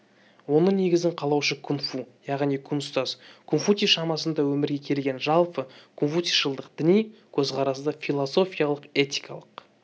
оның негізін қалаушы кун-фу яғни кун ұстаз конфуций шамасында өмірге келген жалпы конфуцийшылдық діни көзқарасты философиялық-этикалық